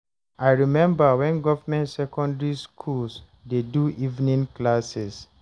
I remember wen government secondary schools dey do evening classes